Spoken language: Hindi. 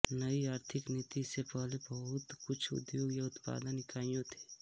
नई आर्थिक नीति से पहले बहुत कुछ उद्योगों या उत्पादन इकाइयों थे